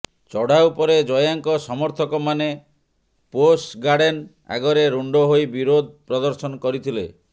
ଚଢାଉ ପରେ ଜୟାଙ୍କ ସମର୍ଥକମାନେ ପୋସ ଗାର୍ଡେନ ଆଗରେ ରୁଣ୍ଡ ହୋଇ ବିରୋଧ ପ୍ରଦର୍ଶନ କରିଥିଲେ